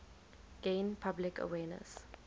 gain public awareness